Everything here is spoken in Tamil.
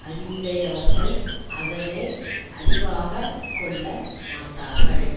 அறிவுடையவர்கள் அதனை அறிவாகக் கொள்ள மாட்டார்கள்